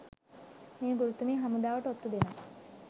මේ ගුරුතුමිය හමුදාවට ඔත්තු දෙනවා